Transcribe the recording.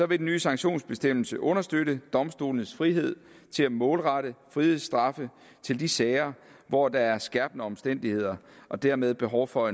vil den nye sanktionsbestemmelse understøtte domstolenes frihed til at målrette frihedsstraffe til de sager hvor der er skærpende omstændigheder og dermed behov for